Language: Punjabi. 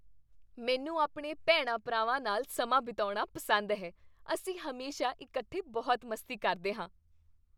ਮੈਨੂੰ ਆਪਣੇ ਭੈਣਾਂ ਭਰਾਵਾਂ ਨਾਲ ਸਮਾਂ ਬਿਤਾਉਣਾ ਪਸੰਦ ਹੈ ਅਸੀਂ ਹਮੇਸ਼ਾ ਇਕੱਠੇ ਬਹੁਤ ਮਸਤੀ ਕਰਦੇ ਹਾਂ